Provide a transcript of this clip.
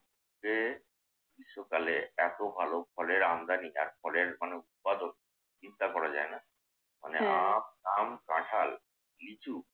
সে সকালে এত ভালো ফলের আমদানি এত ফলের মানে কদর চিন্তা করা যায় না। মানে আম, কাঁঠাল, লিচু